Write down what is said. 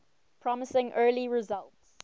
promising early results